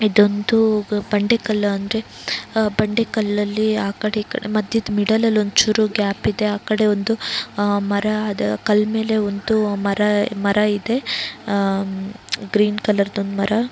ಇದೊಂದು ಬಂಡೆ ಕಲ್ಲು ಅಂದ್ರೆ ಬಂಡೆ ಕಲ್ಲಲ್ಲಿ ಆಕಡೆ ಈಕಡೆ ಮಧ್ಯದ ಮಿದ್ದೆಲ್ ಅಲ್ಲಿ ಒಂದು ಚೂರು ಗ್ಯಾಪ್ ಇದೆ ಆಕಡೆ ಒಂದು ಮರ ಆ ಕಲ್ಲು ಮೇಲೆ ಒಂದು ಮರ ಇದೆ ಅಹ್ ಗ್ರೀನ್ ಕಲರ್ ದು ಮರ.